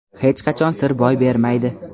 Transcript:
hech qachon sir boy bermaydi.